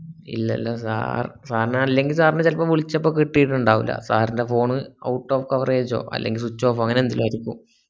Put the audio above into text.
ഇല്ലല്ലാ sir sir നെ അല്ലെങ്ങി sir നെ ചെലപ്പോ വിളച്ചപ്പോ കിട്ടിറ്റിണ്ടാവൂല്ല sir ന്റെ ഫോണ് out of coverege ഓ അല്ലെങ്കി swich off ഓ അങ്ങനെന്തെങ്കിലും ആയിരിക്കും